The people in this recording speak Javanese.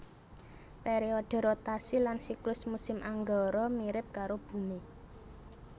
Pèriodhe rotasi lan siklus musim Anggara mirip karo Bumi